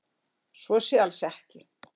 Svo sé alls ekki